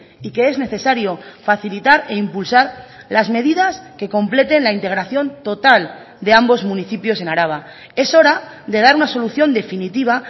y que es necesario facilitar e impulsar las medidas que completen la integración total de ambos municipios en araba es hora de dar una solución definitiva